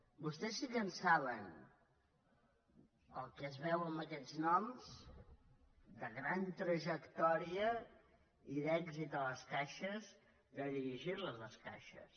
vostès sí que en saben pel que es veu amb aquests noms de gran trajectòria i d’èxit a les caixes de dirigir les les caixes